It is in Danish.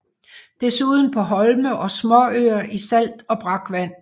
Desuden på Holme og småøer i salt og brakvand